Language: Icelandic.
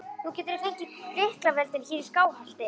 Nú geturðu fengið lyklavöldin hér í Skálholti!